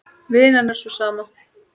Vinnan er sú sama.